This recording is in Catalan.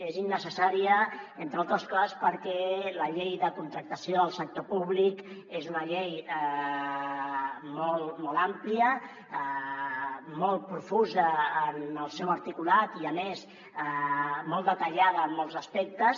és innecessària entre altres coses perquè la llei de contractació del sector públic és una llei molt àmplia molt profusa en el seu articulat i a més molt detallada en molts aspectes